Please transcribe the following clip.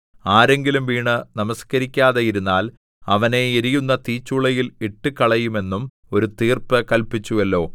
ആരെങ്കിലും വീണ് നമസ്കരിക്കാതെയിരുന്നാൽ അവനെ എരിയുന്ന തീച്ചൂളയിൽ ഇട്ടുകളയുമെന്നും ഒരു തീർപ്പ് കല്പിച്ചുവല്ലോ